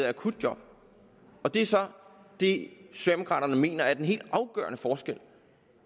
akutjob og det er så det socialdemokraterne mener gør den helt afgørende forskel